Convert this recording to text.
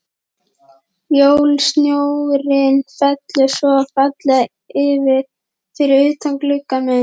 Jólasnjórinn fellur svo fallega fyrir utan gluggann minn.